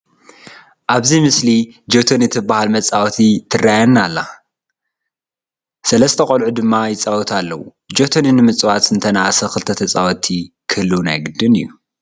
ኣብቲ ምስሊ ጀቶኒ ትበሃል መፃወቲ ትርአየና ኣለና፡፡ ሰለስተ ቆልዑ ድማ ይፃወቱላ ኣለዉ፡፡ ጀቶኒ ንምፅዋት እንተንኣሰ ክልተ ተፃወትቲ ክህልዉ ናይ ግድን እዩ፡፡